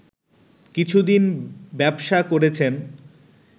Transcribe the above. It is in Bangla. কিছুদিন ব্যবসা করেছেন